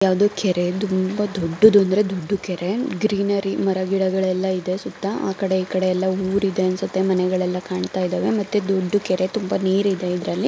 ಯಾವ್ದೋ ಕೆರೆ ತುಂಬಾ ದೊಡ್ದುದಾದ ದೊಡ್ದು ಕೆರೆ ಗ್ರೀನರಿ ಮರ ಗಿಡಗಳೆಲ್ಲ ಇದೆ. ಸುತ್ತ ಆಕಡೆ ಈಕಡೆ ಎಲ್ಲ ಊರಿದೆ ಅನ್ಸುತ್ತೆ ಮನೆಗಳೆಲ್ಲ ಕಾಣ್ತಾ ಇದಾವೆ ಮತ್ತೆ ದೊಡ್ದು ಕೆರೆ ತುಂಬಾ ನೀರಿದೆ ಇದ್ರಲ್ಲಿ.